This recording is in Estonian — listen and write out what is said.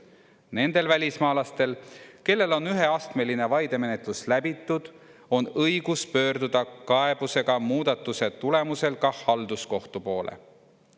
Nendel välismaalastel, kellel on üheastmeline vaidemenetlus läbitud, on õigus pöörduda kaebusega muudatuse tulemusel ka halduskohtu poole.